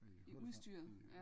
I udstyret